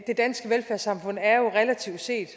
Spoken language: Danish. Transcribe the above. danske velfærdssamfund er jo relativt set